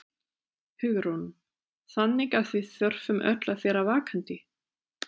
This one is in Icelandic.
Hugrún: Þannig að við þurfum öll að vera vakandi?